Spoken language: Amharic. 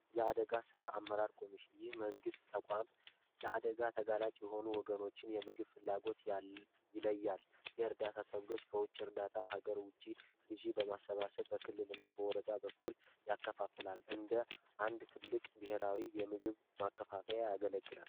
የአደጋ ስራ አመራር ኮሚሽን ይህ የመንግስት ተቋሞ ለአደጋ ተጋላጭ የሆኑ ወገኖችን የምግብ ፍላጎት ይለያል የእርዳታ ሰብሎች ከዉጭ እርዳታ ከዉጭ በማሰባሰብ በክልል እና በወረዳ በኩል ያከፋፍላል እንደ አንድ ትልቅ ብሄራዊ የምግብ ማከፋፈያ ያገለግላል።